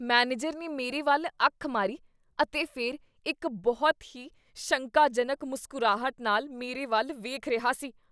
Manager ਨੇ ਮੇਰੇ ਵੱਲ ਅੱਖ ਮਾਰੀ ਅਤੇ ਫਿਰ ਇੱਕ ਬਹੁਤ ਹੀ ਸ਼ੰਕਾਜਨਕ ਮੁਸਕਰਾਹਟ ਨਾਲ ਮੇਰੇ ਵੱਲ ਵੇਖ ਰਿਹਾ ਸੀ।